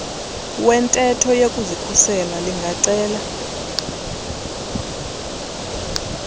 wentetho yokuzikhusela lingacela